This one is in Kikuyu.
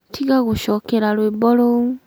tiga gũcokera rũĩmbo rũu